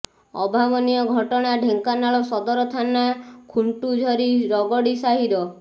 ଅଭାବନୀୟ ଘଟଣା ଢେଙ୍କାନାଳ ସଦର ଥାନା ଖୁଣ୍ଟୁଝରି ରଗଡି ସାହିର